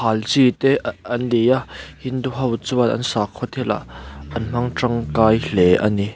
hal chi te uh an ni a hindu ho chuan an sakhua thilah an hmang tangkai hle ani.